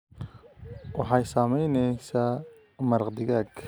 Waxay samaynaysaa maraq digaag